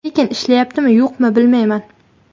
Lekin ishlayaptimi, yo‘qmi, bilmayman.